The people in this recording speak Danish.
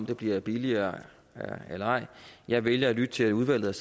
det bliver billigere eller ej jeg vælger at lytte til udvalget